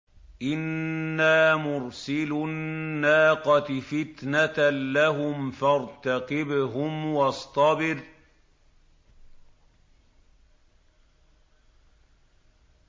إِنَّا مُرْسِلُو النَّاقَةِ فِتْنَةً لَّهُمْ فَارْتَقِبْهُمْ وَاصْطَبِرْ